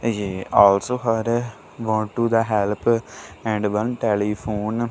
he also had a want to the help and one telephone.